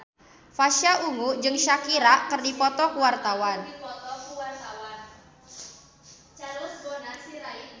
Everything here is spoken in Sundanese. Pasha Ungu jeung Shakira keur dipoto ku wartawan